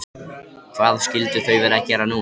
Hvað skyldu þau vera að gera núna?